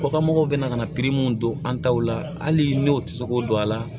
Kɔkanmɔgɔw bɛna ka na mun don an taw la hali n'u ti se k'o don a la